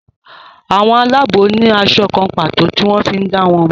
àwọn Àlàabò ní aṣọ kán pàtó tí wón fí dá wón mo.